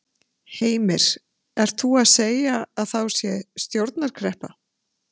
Heimir: Er þú að segja að þá sé stjórnarkreppa?